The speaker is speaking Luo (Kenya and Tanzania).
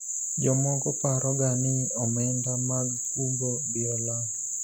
jomoko paro ga ni omenda mag kungo biro lal